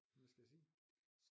Hvad skal jeg sige?